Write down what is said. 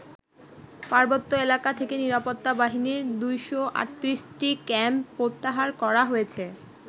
পার্বত্য এলাকা থেকে নিরাপত্তা বাহিনীর ২৩৮টি ক্যাম্প প্রত্যাহার করা হয়েছে।